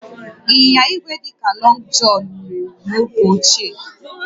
Ịnyịnya igwe dị ka Lọngụ Jọnụ wuru ewu n'oge ochie